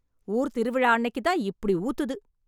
ஊர்த்திருவிழா அன்னைக்கு தான் இப்படி ஊத்துது.